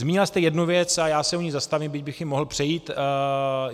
Zmínila jste jednu věc a já se u ní zastavím, byť bych ji mohl přejít.